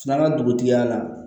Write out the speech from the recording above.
Filanan dugutigi y'a la